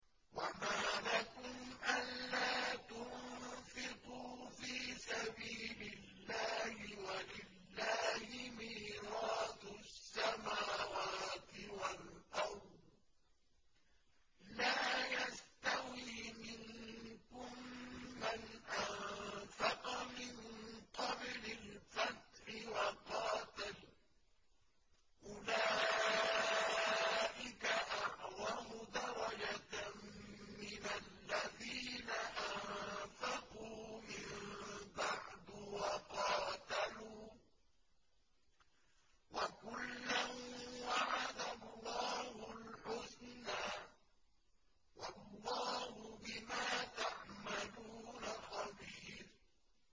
وَمَا لَكُمْ أَلَّا تُنفِقُوا فِي سَبِيلِ اللَّهِ وَلِلَّهِ مِيرَاثُ السَّمَاوَاتِ وَالْأَرْضِ ۚ لَا يَسْتَوِي مِنكُم مَّنْ أَنفَقَ مِن قَبْلِ الْفَتْحِ وَقَاتَلَ ۚ أُولَٰئِكَ أَعْظَمُ دَرَجَةً مِّنَ الَّذِينَ أَنفَقُوا مِن بَعْدُ وَقَاتَلُوا ۚ وَكُلًّا وَعَدَ اللَّهُ الْحُسْنَىٰ ۚ وَاللَّهُ بِمَا تَعْمَلُونَ خَبِيرٌ